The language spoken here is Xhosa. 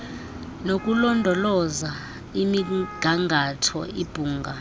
nokulondoloza imigangatho ibhunga